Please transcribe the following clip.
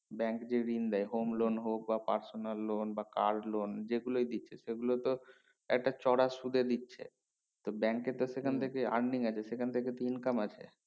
bank যেই ঋণ দেয় home loan হোক বা personal loan বা car loan যেগুলোয় দিচ্ছে সেগুলো তো একটা চড়া সুদে দিচ্ছে তো bank এ তো সেখান থেকে earning আছে সেখান থেকে তো income আছে